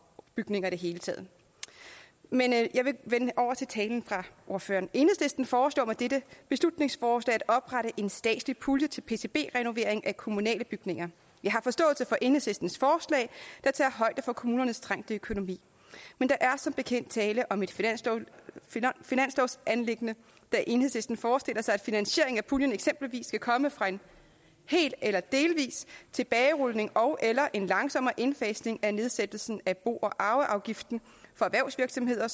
bygninger i det hele taget men jeg vil gå over til talen fra ordføreren enhedslisten foreslår med dette beslutningsforslag at oprette en statslig pulje til pcb renovering af kommunale bygninger jeg har forståelse for enhedslistens forslag der tager højde for kommunernes trængte økonomi men der er som bekendt tale om et finanslovsanliggende da enhedslisten forestiller sig at finansieringen af puljen eksempelvis skal komme fra en hel eller delvis tilbagerulning ogeller en langsommere indfasning af nedsættelsen af bo og arveafgiften for erhvervsvirksomheder